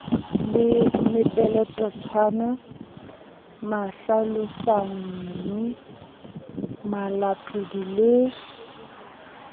le mepeletotshwano mahlalosonngwe malatodi le